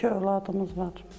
İki övladımız var.